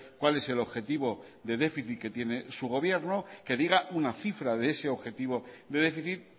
cuál es el objetivo de déficit que tiene su gobierno que diga una cifra de ese objetivo de déficit